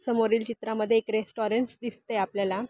समोरील चित्रामध्ये एक रेस्टोरन्टस दिसतय आपल्याला--